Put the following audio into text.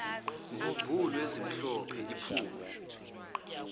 mbumbulu ezimhlophe iphume